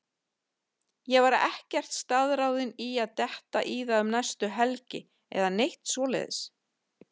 Ég var ekkert staðráðinn í að detta í það um næstu helgi eða neitt svoleiðis.